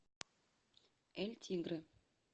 эль тигре